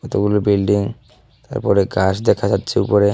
কতগুলো বিল্ডিং তারপরে গাছ দেখা যাচ্ছে উপরে।